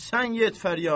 Sən get fəryada.